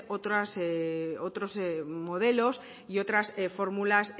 otros modelos y otras fórmulas